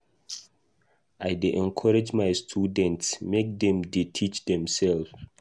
I dey encourage my students make dem dey teach demsef.